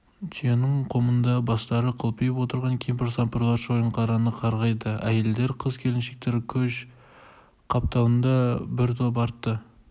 түйенің қомында бастары қылқиып отырған кемпір-сампырлар шойынқараны қарғайды әйелдер қыз-келіншектер көш қапталында бір топ атты